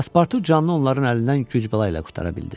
Paspartu canlı onların əlindən güc-bəla ilə qurtara bildi.